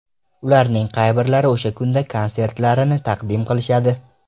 Ularning qay birlari o‘sha kunda konsertlarini taqdim qilishadi ?